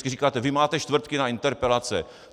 Vždycky říkáte: vy máte čtvrtky na interpelace.